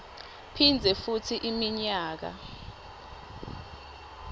phindze futsi iminyaka